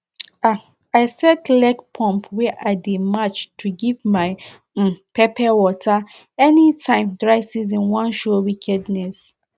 um i set legpump wey i dey match to give my um pepper water anytime dry season wan show wickedness